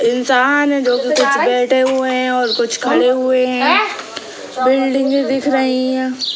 इन्सान है जो की कुछ बैठे हुए कुछ खड़े हुए हैं |